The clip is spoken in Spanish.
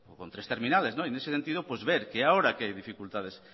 con tres terminales en ese sentido pues ver que ahora que hay dificultades